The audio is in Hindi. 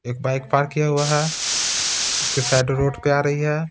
एक बाइक पार्क किया हुआ है उसके शेडो रोड पे आ रही है.